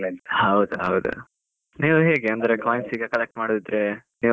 ಹೌದ್ ಹೌದು, ನೀವು ಹೆಗೇ ಅಂದ್ರೆ coins ಈಗ collect ಮಾಡುದಿದ್ರೆ ನೀವು ಅದೊಂದು.